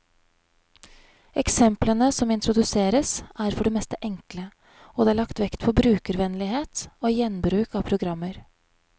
Eksemplene som introduseres, er for det meste enkle, og det er lagt vekt på brukervennlighet og gjenbruk av programmer.